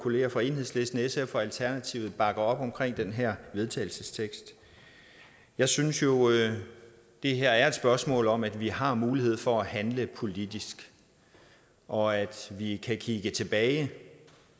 kolleger fra enhedslisten sf og alternativet bakker op om den her vedtagelsestekst jeg synes jo det her er et spørgsmål om at vi har mulighed for at handle politisk og at vi kan kigge tilbage